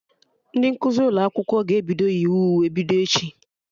Ndị nkụzi ụlọ akwụkwọ ga-ebido yiwe uwe bido echi